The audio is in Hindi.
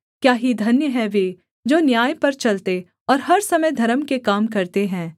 क्या ही धन्य हैं वे जो न्याय पर चलते और हर समय धर्म के काम करते हैं